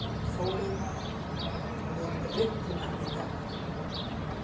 Þórunn, mun rigna í dag?